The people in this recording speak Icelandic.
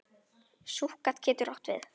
Súkkat getur átt við